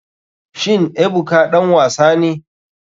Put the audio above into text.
Shin ebuka ɗan wasa ne.